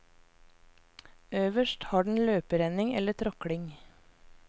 Øverst har den løperenning eller tråkling.